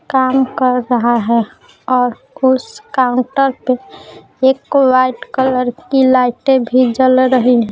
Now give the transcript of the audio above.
काम कर रहा है और उस काउंटर पे एक वाइट कलर की लाइटें भी जल रही है।